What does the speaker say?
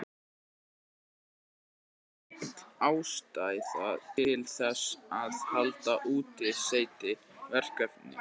Það er því full ástæða til þess að halda úti SETI-verkefni.